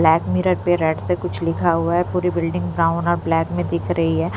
Black mirror पे red से कुछ लिखा हुआ है पूरी बिल्डिंग ब्राउन और ब्लैक में दिख रही है।